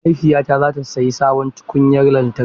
Mahaifiyata za ta sayi sabon tukunyar lantarki.